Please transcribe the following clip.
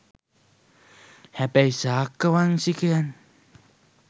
හැබැයි ශාක්‍ය වංශිකයන්